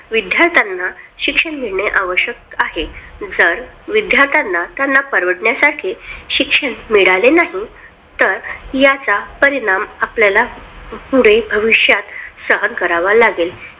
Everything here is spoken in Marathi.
विद्यार्थ्यांना शिक्षण मिळणे आवश्यक आहे. जर विद्यार्थ्यांना त्यांना परवडण्यासारखे शिक्षण मिळाले नाही तर याचा परिणाम आपल्याला पुढे भविष्यात सहन करावा लागेल.